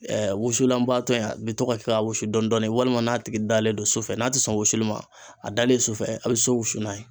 wusulanbaatɔ in a bi to ka kɛ ka wusu dɔɔnin walima n'a tigi dalen don su fɛ n'a ti sɔn wusuli ma a dalen su fɛ a bi so wusu n'a ye.